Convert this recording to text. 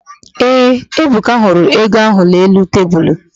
Ee, Ebuka hụrụ ego n'elu tebulu.